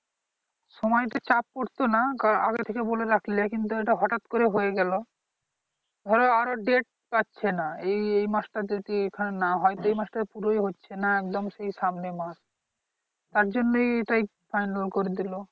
সময়তে চাপ পরতো না কারন আগে থেকে বলে রাখলে কিন্তু এটা হঠাত করে হয়ে গেলো ধরো আরো date পাচ্ছি না এই এই মাস টা যদি এখানে না হয় দুই মাসটায় পুরোই হচ্ছে না একদম তার জন্যই এটাই ফাইনাল করে দিলো